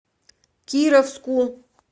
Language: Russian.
кировску